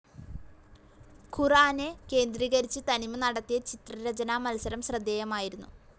ഖുർആനെ കേന്ദ്രീകരിച്ച് തനിമ നടത്തിയ ചിത്രരചാനാ മത്സരം ശ്രദ്ധേയമായിരുന്നു.